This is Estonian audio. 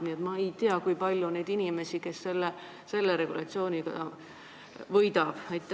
Nii et ma ei tea, kui palju on neid inimesi, kes selle regulatsiooniga võidavad.